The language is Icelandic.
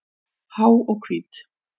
Há og hvít.